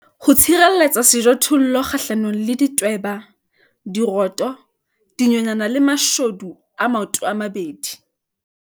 Ho tshireletsa sejothollo kgahlanong le ditweba, dikgoto, dinonyana le mashodu a maotomabedi.